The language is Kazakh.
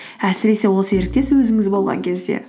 әсіресе ол серіктес өзіңіз болған кезде